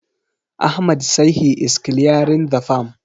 Ahmad sai he is clearing the farm.